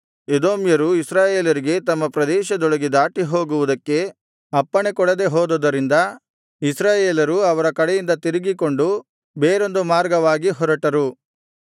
ಎದೋಮ್ಯರು ಇಸ್ರಾಯೇಲರಿಗೆ ತಮ್ಮ ಪ್ರದೇಶದೊಳಗೆ ದಾಟಿಹೋಗುವುದಕ್ಕೆ ಅಪ್ಪಣೆಕೊಡದೆ ಹೋದುದರಿಂದ ಇಸ್ರಾಯೇಲರು ಅವರ ಕಡೆಯಿಂದ ತಿರುಗಿಕೊಂಡು ಬೇರೊಂದು ಮಾರ್ಗವಾಗಿ ಹೊರಟರು